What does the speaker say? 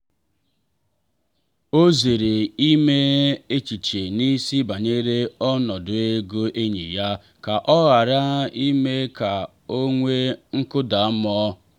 ọ zere ime echiche n’isi banyere ọnọdụ ego enyi ya ka ọ ghara ime ka o nwee nkụda mmụọ.